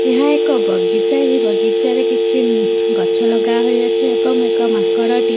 ଏହା ଏକ ବଗିଚା ଏହି ବଗିଚାରେ କିଛି ଉମ୍ ଗଛ ଲଗା ହେଇଅଛି ଏବଂ ମାଙ୍କଡ଼ଟି --